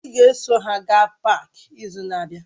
Ị ga-eso ha gaa páák izu na-abịa!